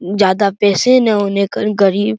ज्यादा पैसा ना होने गरीब --